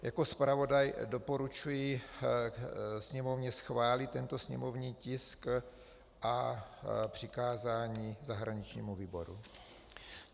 Jako zpravodaj doporučuji Sněmovně schválit tento sněmovní tisk a přikázání zahraničnímu výboru.